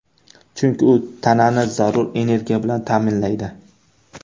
Chunki u tanani zarur energiya bilan ta’minlaydi.